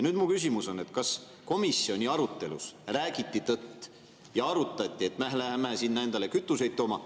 Mu küsimus on, kas komisjoni arutelus räägiti tõtt ja arutati seda, et me läheme sealt endale kütuseid tooma.